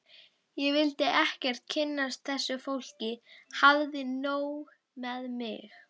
Ég vildi ekkert kynnast þessu fólki, hafði nóg með mig.